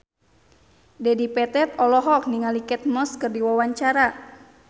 Dedi Petet olohok ningali Kate Moss keur diwawancara